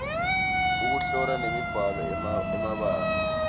ekuhlola nemibhalo emabanga